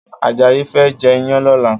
Ajayi fè jè iyàn lòlá